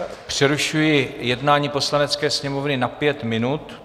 Přerušuji jednání Poslanecké sněmovny na pět minut.